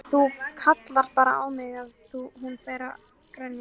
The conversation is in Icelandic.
Þú kallar bara á mig ef hún fer að grenja.